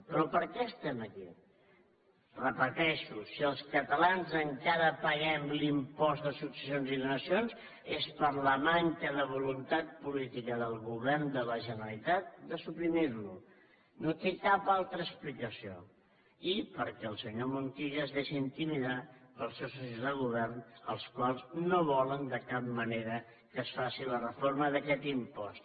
però per què estem aquí ho repeteixo si els catalans encara paguem l’impost de successions i donacions és per la manca de voluntat política del govern de la generalitat de suprimir lo no té cap altra explicació i perquè el senyor montilla es deixa intimidar pels seus socis de govern els quals no volen de cap manera que es faci la reforma d’aquest impost